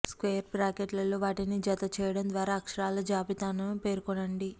square బ్రాకెట్లలో వాటిని జత చేయడం ద్వారా అక్షరాల జాబితాను పేర్కొనండి